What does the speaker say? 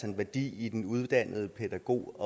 en værdi i den uddannede pædagog